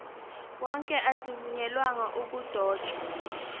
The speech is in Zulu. wonke azivunyelwanga ukudotshwa